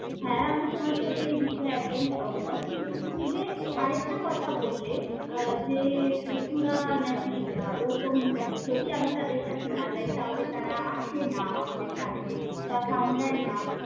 হ্যাঁ আমি তোমার সাথে একদম সহমত। কিন্তু তুমি যে আরেকটা কথা বললে আহ যে পশুরা নাকি আহ ওরকম মানে যদি আমি তাদের কাছে না যাই তাহলে তারা আসে না আমাদের কাছে বা কামড়ায় না।